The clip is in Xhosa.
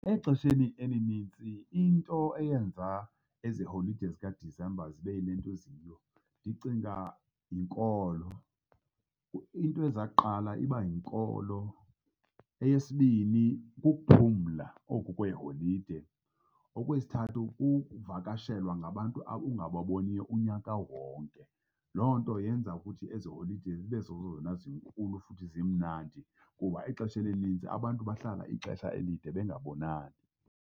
Exesheni elinintsi into eyenza ezi holide zikaDisemba zibe yile nto ziyiyo ndicinga yinkolo, into eza kuqala iba yinkolo. Eyesibini, ukuphumla oku kweeholide. Okwesithathu, ukuvakashelwa ngabantu ungababoniyo unyaka wonke. Loo nto yenza ukuthi ezi holide zibe zezona zinkulu futhi zimnandi, kuba ixesha elinintsi abantu bahlala ixesha elide bengabonani.